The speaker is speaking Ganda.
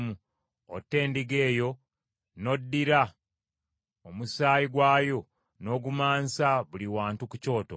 otte endiga eyo, n’oddira omusaayi gwayo n’ogumansa buli wantu ku kyoto.